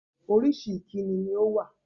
Orísìí ìkíni ní ó wà